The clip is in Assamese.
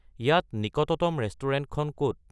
ইয়াত নিকটতম ৰেস্তোৰাঁখন ক'ত